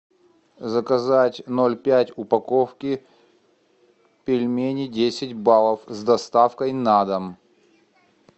заказать ноль пять упаковки пельменей десять баллов с доставкой на дом